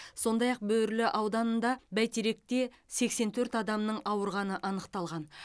сондай ақ бөрлі ауданында бәйтеректе сексен төрт адамның ауырғаны анықталған